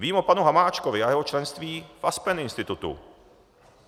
Vím o panu Hamáčkovi a jeho členství v Aspen Institute.